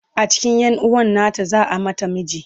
a cikin yanuwan nata za'a mata miji